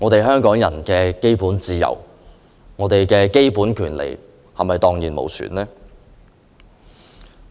香港人的基本自由和權利是否蕩然無存？